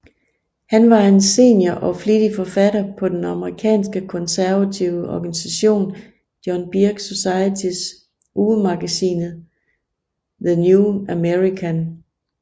Han var en senior og flittig forfatter på den amerikanske konservative organisation John Birch Societys ugemagasinet The New American